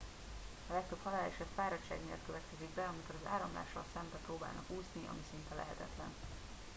a legtöbb haláleset fáradtság miatt következik be amikor az áramlással szembe próbálnak úszni ami szinte lehetetlen